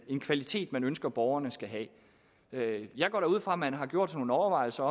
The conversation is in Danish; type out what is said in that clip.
en kvalitet man ønsker at borgerne skal have jeg går da ud fra at man har gjort sig nogle overvejelser